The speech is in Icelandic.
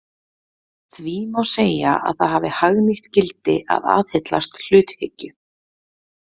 Því má segja að það hafi hagnýtt gildi að aðhyllast hluthyggju.